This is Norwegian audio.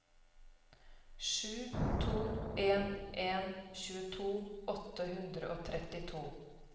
sju to en en tjueto åtte hundre og trettito